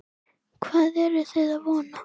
Hvað eruð þið að vona?